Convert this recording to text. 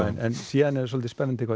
en síðan er spennandi hvað